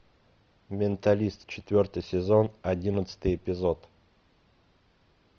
менталист четвертый сезон одиннадцатый эпизод